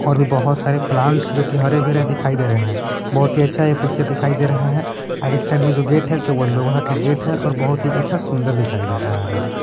और भी बहुत सारे प्लांट्स जो कि हरे भरे दिखाई दे रहे हैं बहुत ही अच्छा यह पिक्चर दिखाई दे रहा है आगे के साइड में जो गेट हैं सो वो लोहा का गेट है और बहुत ही अच्छा सुंदर दिखाई दे रहा है।